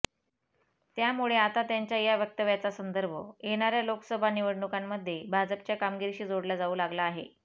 त्यामुळे आता त्यांच्या या वक्तव्याचा संदर्भ येणाऱ्या लोकसभा निवडणुकांमध्ये भाजपच्या कामगिरीशी जोडला जाऊ लागला आहे